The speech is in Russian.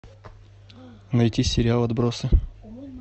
найти сериал отбросы